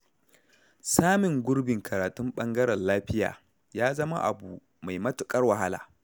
Samun gurbin karatun ɓangaren lafiya, ya zama abu mai matuƙar wahala.